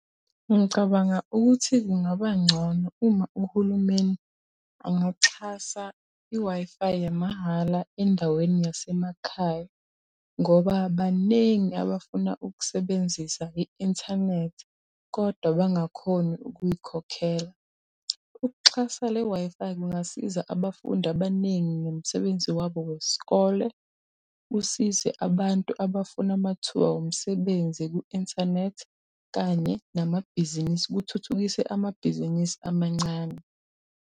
Ngicabanga ukuthi kungaba ngcono uma uhulumeni angaxhasa i-Wi-Fi yamahhala endaweni yasemakhaya ngoba banengi abafuna ukusebenzisa i-inthanethi kodwa bangakhoni ukuyikhokhela. Ukuxhasa le Wi-Fi kungasiza abafundi abaningi ngomsebenzi wabo wesikole, usize abantu abafuna amathuba womsebenzi ku-inthanethi kanye namabhizinisi, kuthuthukise amabhizinisi amancane.